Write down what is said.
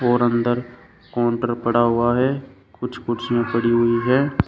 और अंदर काउंटर पड़ा हुआ है कुछ कुर्सियां में पड़ी हुई है।